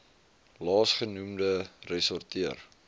laas genoemde ressorteer